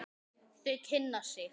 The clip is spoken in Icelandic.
Þau kynna sig.